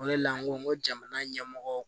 O de la n ko n ko jamana ɲɛmɔgɔ